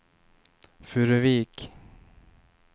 Furuvik